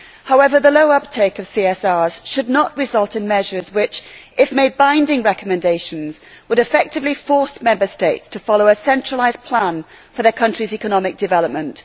However, the low uptake of CSRs should not result in measures which, if made binding recommendations, would effectively force Member States to follow a centralised plan for their country's economic development.